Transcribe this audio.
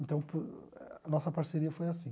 Então po eh, a nossa parceria foi assim.